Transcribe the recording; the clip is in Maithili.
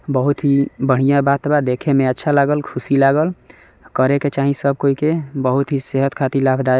बहुत ही बढ़िया बात बा। देखे में अच्छा लागल खुशी लागल। करे के चाहीं सब कोई के बहुत ही सेहत ख़ातिर लाभदायक --